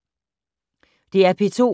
DR P2